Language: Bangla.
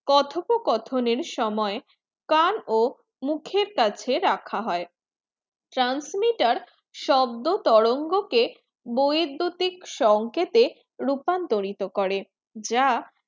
কথোপকথন এর সময়ে কান ও মুখের কাছে রাখা হয় transmitter শব্দতরঙ্গ কে বৈদ্যুতিক সংকেতে রূপান্তরিত করে যা